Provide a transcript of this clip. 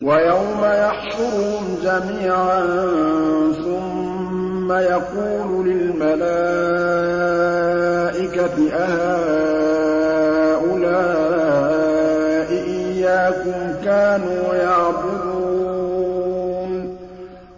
وَيَوْمَ يَحْشُرُهُمْ جَمِيعًا ثُمَّ يَقُولُ لِلْمَلَائِكَةِ أَهَٰؤُلَاءِ إِيَّاكُمْ كَانُوا يَعْبُدُونَ